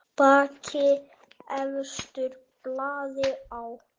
Bakki efstur blaði á.